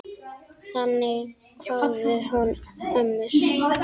Þannig kváðu ömmur.